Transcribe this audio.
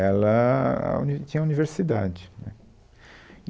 Ela, a uni, tinha a universidade, né